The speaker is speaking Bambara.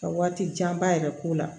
Ka waati janba yɛrɛ k'o la